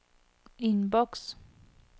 innboks